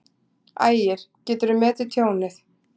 Ægir: Geturðu metið tjónið?